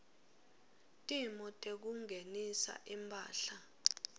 timo tekungenisa imphahla